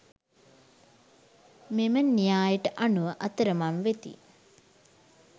මෙම න්‍යායට අනුව අතරමං වෙති